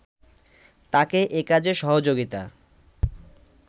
তাকে এ কাজে সহযোগিতা